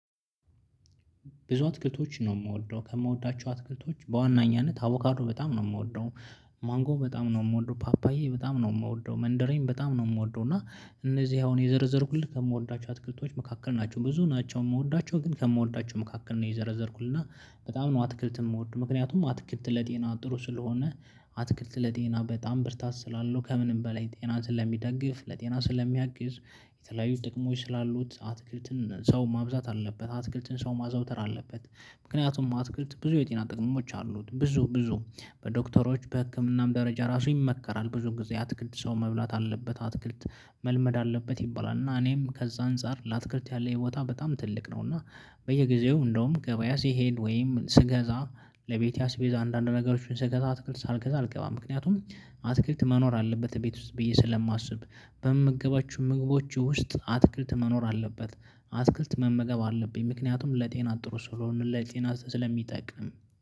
ብዙ አትክልቶች ነው የምወደው ከምወዳቸው አትክልቶች በዋናኛነት አቦካዶ በጣም ነው የምወደው። ማንጎ በጣም ነው የምወደው ፓፓዬ በጣም ነው የምወደው መንደሬን በጣም ነው የምወደው። እና እነዚህ አሁን የዘረዘርኩልህ ከምወዳቸው አትክክልቶች መካከል ናቸው። ብዙ ናቸው የምወዳቸው ግን ከምወዳቸው መካከል ነው የዘረዘርኩልና በጣም ነው አትክልት የምወደው ምክንያቱም አትክልት ለጤና ጥሩ ስለሆነ አትክልት ለጤና በጣም ብርታት ስላለው ከምንም በላይ ጤና ስለሚደግፍ ለጤና ስለሚያግዝ የተለያዩ ጥቅሞች ስላሉት አትክልትን ሰው ማብዛት አለበት አትክልትን ሰው ማዛውተር አለበት ምክንያቱም አትክልት ብዙ የጤና ጥቅሞች አሉት ብዙ ብዙ በዶክተሮች በህክምናም ደረጃ ራሱ ይመከራል ብዙ ጊዜ አትክልት ሰው መብላት አለበት አትክልት መልመድ አለበት ይባላል እና እኔም ከዛ አንፃር ለአትክልት ያለ ቦታ በጣም ትልቅ ነው እና በየጊዜው እንደውም ገበያ ሲሄድ ወይም ስገዛ ለቤቴ አስቤዛ አንዳንድ ነገሮችን ስገዛ አትክልት ሳልገዛ አልገባም ምክንያቱም አትክልት መኖር አለበት ቤት ውስጥ ብዬ ስለማስብ በምገባችሁ ምግቦች ውስጥ አትክልት መኖር አለበት አትክልት መመገብ አለብኝ ምክንያቱም ለጤና ጥሩ ስለሆነ ለጤና ስለሚጠቅም